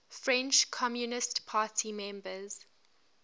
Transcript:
french communist party members